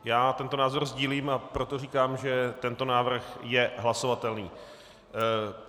Já tento názor sdílím, a proto říkám, že tento návrh je hlasovatelný.